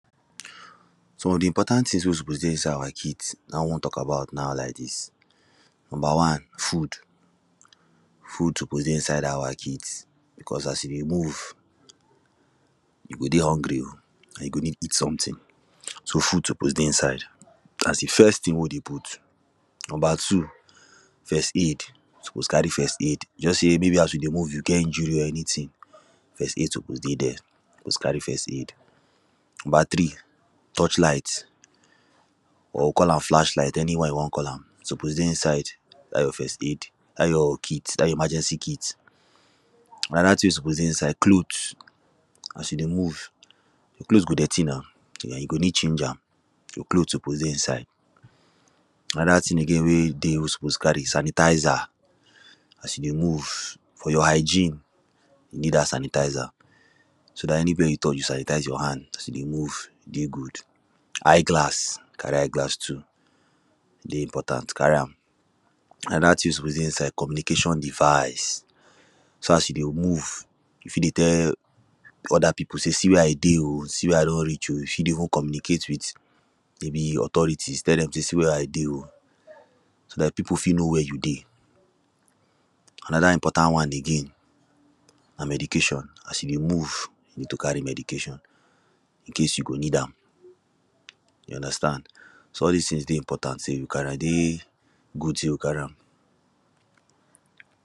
Some of the important things wey suppose dey inside our kit, na we wan talk about now lak dis, number one: food. Food suppose dey inside dat our kit, because as we dey move, you go dey hungry o, and you go need something, so, food suppose dey inside as the first thing wey dey put Number two: first aid, you suppose carry first aid. Just say maybe as you dey move, you get injury or anything, first aid suppose dey there, you suppose carry first aid. Number three: torch light, or call am flashlight, anyone you wan call am, e suppose dey inside dat your first aid, dat your kit, dat your emergency kit. Another thing wey suppose dey inside, cloth, as you dey move your clothes go dirty na, um you go need change am. Your clothes suppose dey inside. Another thing again wey dey you suppose carry, sanitazer, as you dey move, for your hygiene, you need dat sanitazer, so dat anywhere you touch, you sanitaze your hand, as you dey move dey good. Eye-glass, carry eye-glass too, dey important, carry am. Another thing wey suppose dey inside, communication device, so, as you dey move, you fit dey tell other people, say 'see where I dey o. See where I don reach o'. You fit even dey communicate with maybe authorities, tell them say, 'see where I dey o' so dat people fit know wey you dey. Another important one again, na medication, as you dey move, you need to carry medication. in case you go need am, you understand So, all these things dey important say you carry am, e dey good say you carry am.